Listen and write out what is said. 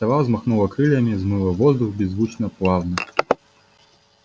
сова взмахнула крыльями взмыла в воздух беззвучно плавно